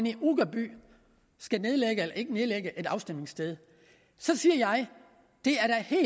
i uggerby skal nedlægge eller ikke nedlægge et afstemningssted så siger jeg